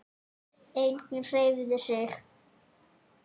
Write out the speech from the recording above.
Enginn hreyfði sig.